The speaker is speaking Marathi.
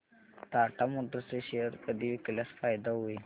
टाटा मोटर्स चे शेअर कधी विकल्यास फायदा होईल